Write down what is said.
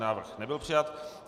Návrh nebyl přijat.